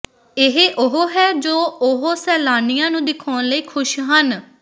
ਇਹ ਉਹ ਹੈ ਜੋ ਉਹ ਸੈਲਾਨੀਆਂ ਨੂੰ ਦਿਖਾਉਣ ਲਈ ਖੁਸ਼ ਹਨ